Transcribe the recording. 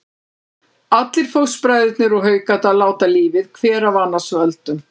Allir fóstbræðurnir úr Haukadal láta lífið, hver af annars völdum.